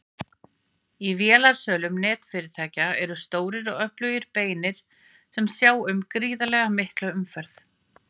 Í vélasölum netfyrirtækja eru stórir og öflugir beinar sem sjá um gríðarlega mikla umferð.